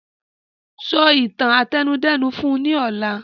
Sọ ìtàn àtẹnudẹ́nu fún ní ọ̀la!